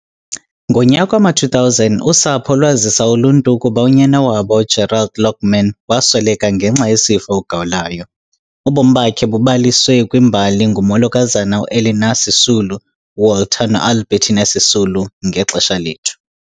Ngonyaka wama-2000, usapho lwazisa uluntu ukuba unyana wabo uGerald Lockman, wasweleka ngenxa yesifo ugawulayo. Ubomi bakhe bubaliswe kwimbali ngumolokazana uElinor Sisulu, Walter noAlbertina Sisulu- Ngexesha lethu.